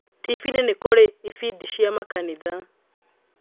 Tibi-inĩ nĩ kũrĩ ibindi cia makanitha